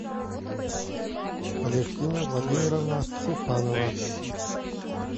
алевтина владимировна суханова